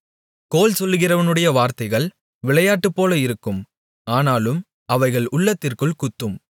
கோள்சொல்கிறவனுடைய வார்த்தைகள் விளையாட்டுப்போல இருக்கும் ஆனாலும் அவைகள் உள்ளத்திற்குள் குத்தும்